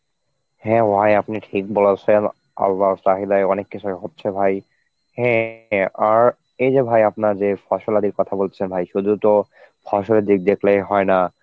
হ্যাঁ ভাই আপনি ঠিক বলেছেন, আল্লাহর চাহিদায় অনেক কিছুই হচ্ছে ভাই, হ্যাঁ আর এই যে ভাই আপনার যে ফসলাদির কথা বলছেন ভাই শুধু তো ফসলের দিক দেখলেই হয় না,